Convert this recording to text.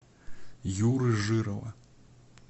юры жирова